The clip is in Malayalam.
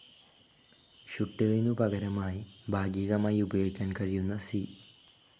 ഷുട്ടിലിനു പകരമായി ഭാഗികമായി ഉപയോഗിക്കാൻ കഴിയുന്ന സി.